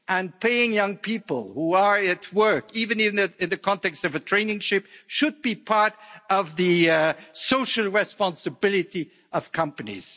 And paying young people who are at work, even in the context of a traineeship, should be part of the social responsibility of companies.